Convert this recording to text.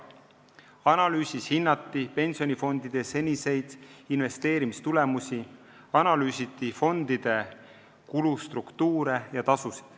Analüüsis hinnati pensionifondide seniseid investeerimistulemusi, analüüsiti fondide kulustruktuure ja tasusid.